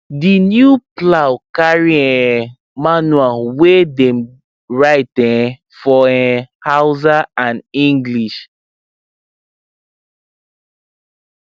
the new plow carry um manual wey dem write um for um hausa and english